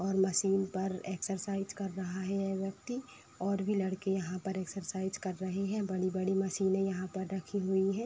और मशीन पर एक्सर्साइज़ कर रहा हैं यह व्यक्ति और भी लड़के यहाँ पर एक्सर्साइज़ कर रहे हैं। बड़ी-बड़ी मशीन यहाँ पर रखे हुई है।